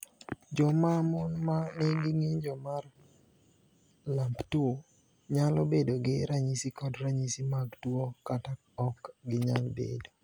Joma mon ma nigi ng’injo mar LAMP2 nyalo bedo gi ranyisi kod ranyisi mag tuo kata ok ginyal bedo.